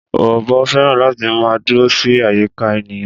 Ọ̀bọ fẹ́ràn láti máa dúró sí àyíká ènìyàn